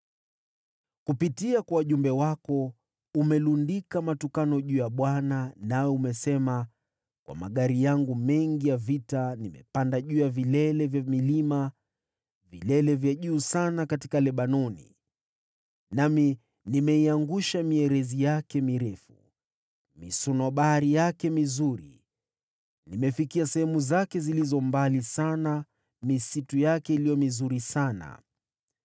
Kupitia kwa wajumbe wako umelundika matukano juu ya Bwana. Nawe umesema, “Kwa magari yangu mengi ya vita, nimepanda juu ya vilele vya milima, vilele vya juu sana katika Lebanoni. Nami nimeiangusha mierezi yake mirefu, misunobari yake iliyo bora sana. Nimefikia sehemu zake zilizo mbali sana, misitu yake iliyo mizuri sana.